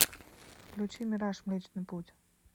включи мираж млечный путь